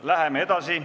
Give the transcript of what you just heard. Läheme edasi.